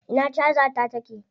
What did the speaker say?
Ina caja ta take?